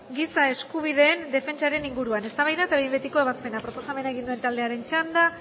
giza eskubideen defentsaren inguruan eztabaida eta behin betiko ebazpena proposamena egin duen taldearen txanda